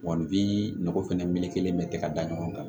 Wa bi nɔgɔ fɛnɛ meleke bɛ tɛ ka da ɲɔgɔn kan